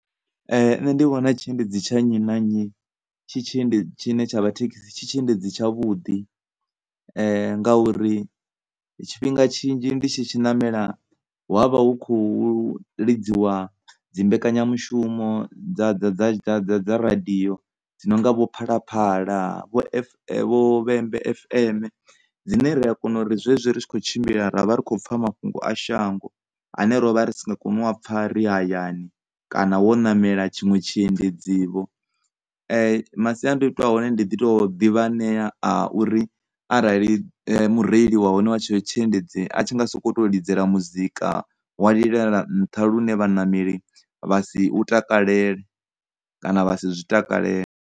Nṋe ndi vhona tshiendedzi tsha nnyi na nnyi tshine tsha vha thekhisi tshi tshi endedzi tsha vhuḓi ngauri tshifhinga tshinzhi ndi tshi tshi namela hu avha hu tshi khou lidziwa dzi mbekanyamushumo dza, dza, dza, dza, radiyo dzi nonga vho phalaphala, vho vhembe FM dzine ri a kona uri zwezwi ri tshi kho tshimbila ravha ri tshi kho pfha mafhungo a shango ane rovha ri si nga koni u pfha ri hayani, kana wo namela tshiṅwe tshiendedzi vho. Masiandoitwa a hone ndi ḓi to ḓivha hanea a uri arali mureili wa hone wa tshetsho tshiendedzi a tshi nga soko lidzela muzika wa lilela nṱha lune vhanameli vha si u takalele kana vha si zwi takalele.